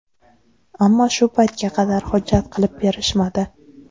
Ammo shu paytga qadar hujjat qilib berishmadi.